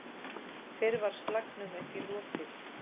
Fyrr var slagnum ekki lokið.